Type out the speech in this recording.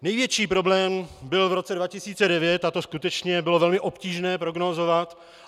Největší problém byl v roce 2009, a to skutečně bylo velmi obtížné prognózovat.